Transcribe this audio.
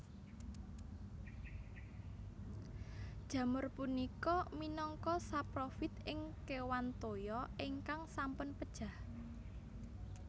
Jamur punika minangka saprofit ing kéwan toya ingkang sampun pejah